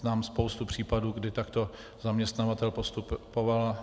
Znám spoustu případů, kdy takto zaměstnavatel postupoval.